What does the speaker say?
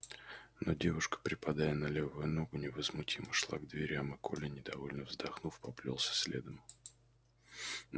но девушка припадая на левую ногу невозмутимо шла к дверям и коля недовольно вздохнув поплёлся следом